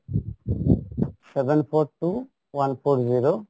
seven four two one four zero